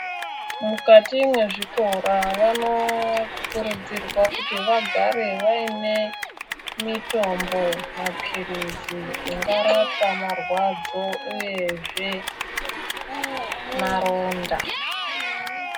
Mukati mezvikora vanokurudzirwa kuti vagare vaine mitombo mapirizi angarapa marwadzo uyezve maronda .